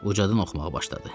Ucadan oxumağa başladı.